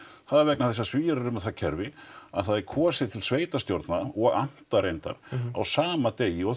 það er vegna þess að Svíar eru með það kerfi að það er kosið til sveitarstjórna og amta reyndar á sama degi og